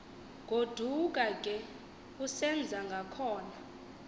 goduka ke usenzangakhona